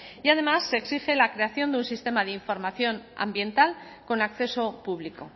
y además se exige la creación de un sistema de información ambiental con acceso público